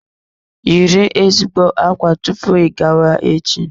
Yiri ezigbo ákwá tupu ị gawa echi.